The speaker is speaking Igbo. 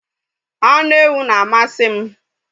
Anụ ewu na amasị m